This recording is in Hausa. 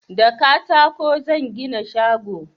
da katako zan gina shago